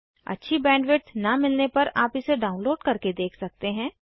अच्छी बैंडविड्थ न मिलने पर आप इसे डाउनलोड करके देख सकते हैं